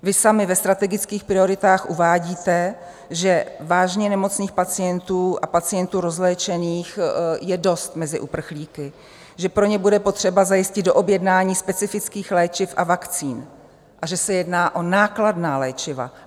Vy sami ve strategických prioritách uvádíte, že vážně nemocných pacientů a pacientů rozléčených je dost mezi uprchlíky, že pro ně bude potřeba zajistit doobjednání specifických léčiv a vakcín a že se jedná o nákladná léčiva.